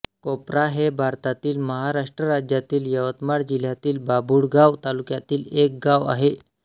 COPRA हे भारतातील महाराष्ट्र राज्यातील यवतमाळ जिल्ह्यातील बाभुळगाव तालुक्यातील एक गाव आहे